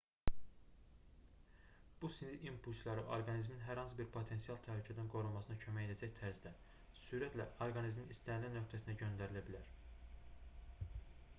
bu sinir impulsları orqanizmin hər hansı bir potensial təhlükədən qorunmasına kömək edəcək tərzdə sürətlə orqanizmin istənilən nöqtəsinə göndərilə bilər